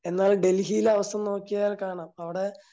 എന്നാ ഡൽഹിയിലെ അവസ്ഥ നോക്കിയാൽ കാണാം അവിടെ